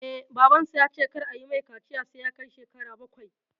Eh, Babansa ya ce kar ayi mai kaciya sai ya kai shekara bakwai